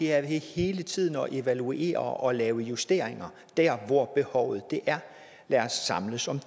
er ved hele tiden at evaluere og lave justeringer der hvor behovet er lad os samles om